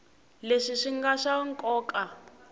leswi swi nga swa nkoka